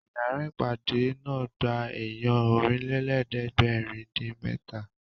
Ìyára ìpàdé náà gba èèyàn Ọ̀rìnlélẹ̀ẹ́dẹ́gbèrin-dín-mẹ́ta